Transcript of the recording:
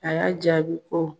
A y'a jaabi ko